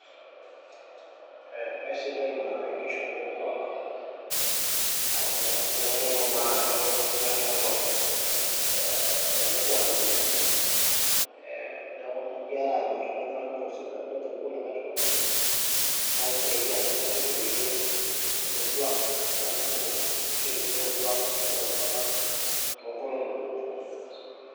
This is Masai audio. Aisidai naa enkishopo amu kitodolu ajo inyorrinyorro ele kuak linyi neeku